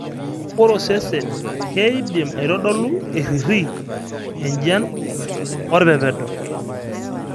ore osesen naa keidim aitodolu ,eriri, enjian, orpepedo.